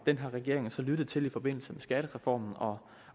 den her regering har så lyttet til det i forbindelse med skattereformen og